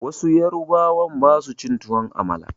Wasu yarubawan ba su cin tuwon amala